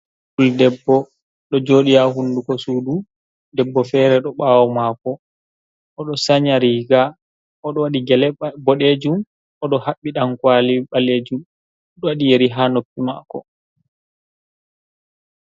Fuldebbo ɗo jooɗi haa hunduko sudu, debbo fere ɗo ɓawo maako, oɗo sanya riga, o ɗo waɗi gele boɗejum, o ɗo haɓɓi ɗankwali ɓaleejum, ɗo wadi yeri ha noppi maako.